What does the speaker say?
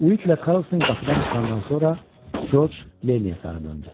Uidlə Karlson qapıdan çıxandan sonra Corc Lenniyə sarı döndü.